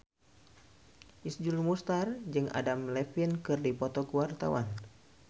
Iszur Muchtar jeung Adam Levine keur dipoto ku wartawan